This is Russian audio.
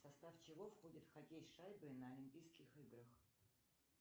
в состав чего входит хоккей с шайбой на олимпийских играх